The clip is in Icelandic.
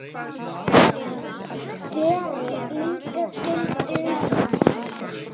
Gerir líka skyldu sína.